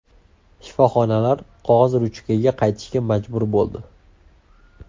Shifoxonalar qog‘oz-ruchkaga qaytishga majbur bo‘ldi.